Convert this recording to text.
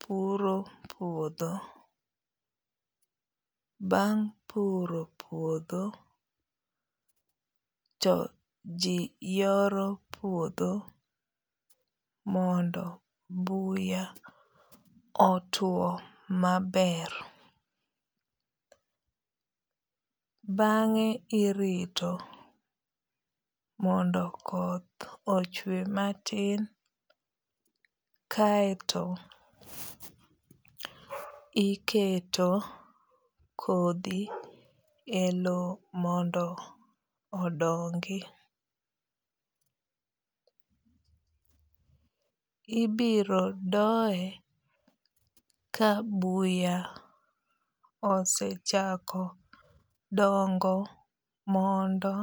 puro puodho. Bang' puro puodho to ji yoro puodho mondo buya otuo maber. Bang'e irito mondo koth ochwe matin kaeto iketo kodhi e low mondo odongi. Ibiro doye ka buya osechako dongo mondo